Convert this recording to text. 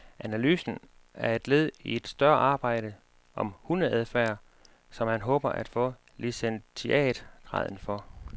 Analysen er led i et større arbejde om hundeadfærd, som han håber at få licentiatgraden for.